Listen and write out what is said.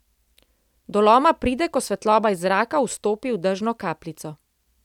Do loma pride, ko svetloba iz zraka vstopi v dežno kapljico.